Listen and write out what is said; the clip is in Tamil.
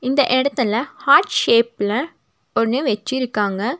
இந்த எடத்துல ஹார்ட் ஷேப்ல ஒன்னு வச்சிருக்காங்க.